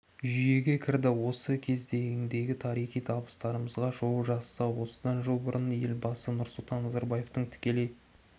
жүйеге кірді осы кезеңдегі тарихи табыстарымызға шолу жасасақ осыдан жыл бұрын елбасы нұрсұлтан назарбаевтың тікелей